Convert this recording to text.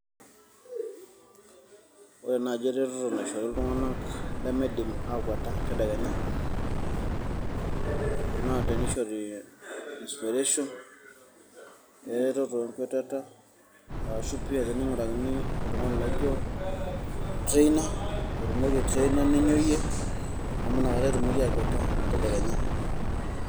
Ore naaji eretoto naishori iltung'ana lemeidim akwata tadekenya, naa teneishori, inspiration peeret enkwetata aasha pia teneing'urakini oltang'ani laijo [ca] trainer naijoiye ama inakata etumoki aakwet tadekenya.